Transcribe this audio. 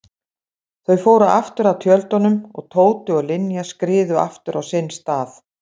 Þau fóru aftur að tjöldunum og Tóti og Linja skriðu aftur á sinn stað.